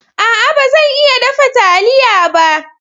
A'a! ba zan iya dafa taliya ba.